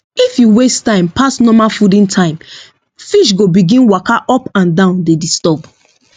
if you waste time pass normal fooding time fish go begin waka up and down dey disturb